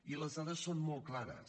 i les dades són molt clares